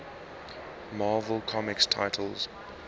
marvel comics titles